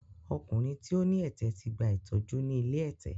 Ọkùnrin tí ó ní ẹ̀tẹ̀ ti gba ìtọ́jú ni ilé ẹ̀tẹ̀.